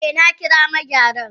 Eh nakira Megyaran.